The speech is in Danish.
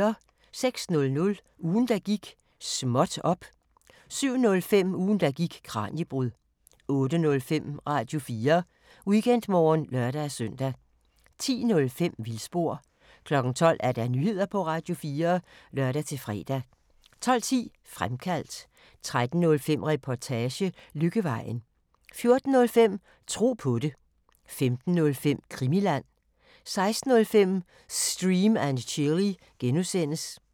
06:00: Ugen der gik: Småt op! 07:05: Ugen der gik: Kraniebrud 08:05: Radio4 Weekendmorgen (lør-søn) 10:05: Vildspor 12:00: Nyheder på Radio4 (lør-fre) 12:10: Fremkaldt 13:05: Reportage: Lykkevejen 14:05: Tro på det 15:05: Krimiland 16:05: Stream & Chill (G)